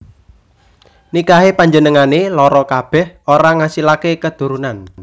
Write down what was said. Nikahé panjenengané loro kabèh ora ngasilaké keturunan